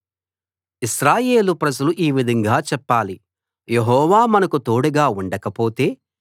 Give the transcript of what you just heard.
ఇశ్రాయేలు ప్రజలు ఈ విధంగా చెప్పాలి యెహోవా మనకు తోడుగా ఉండకపోతే